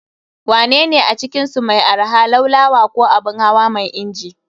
Wanene a cikinsu mai arha, Laulawa ko Abun hawa mai inji?